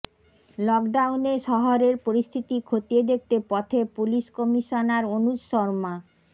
লকডাউনে শহরের পরিস্থিতি খতিয়ে দেখতে পথে পুলিশ কমিশনার অনুজ শর্মা